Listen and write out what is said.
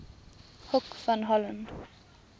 hoek van holland